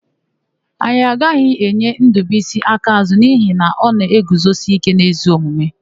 Anyị agaghị enye Ndụbuisi akaàzụ́ n'ihi na ọ na-eguzosike n'ezi omume.